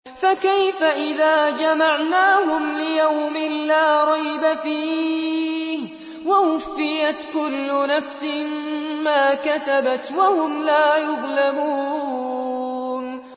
فَكَيْفَ إِذَا جَمَعْنَاهُمْ لِيَوْمٍ لَّا رَيْبَ فِيهِ وَوُفِّيَتْ كُلُّ نَفْسٍ مَّا كَسَبَتْ وَهُمْ لَا يُظْلَمُونَ